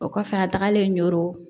O kɔfɛ an tagalen ɲo